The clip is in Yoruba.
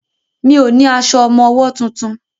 Mi ò ní aṣọ ọmọwọ́ tuntun.